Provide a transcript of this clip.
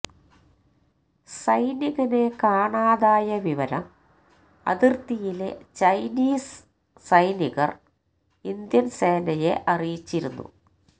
സൈനികനെ കാണാതായ വിവരം അതിര്ത്തിയിലെ ചൈനീസ് സൈനികര് ഇന്ത്യന് സേനയെ അറിയിച്ചിരുന്നു